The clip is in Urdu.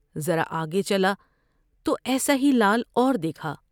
ذرا آگے چلا تو ایسا ہی لعل اور دیکھا ۔